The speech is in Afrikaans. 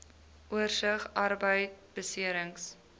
oorsig arbeidbeserings